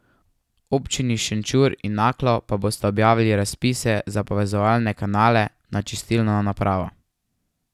Občini Šenčur in Naklo pa bosta objavili razpise za povezovalne kanale na čistilno napravo.